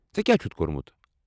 ژےٚ کیٛاہ چھُتھ کوٚرمُت؟